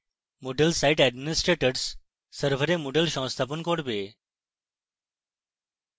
moodle site administrators server moodle সংস্থাপন করবে